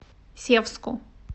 севску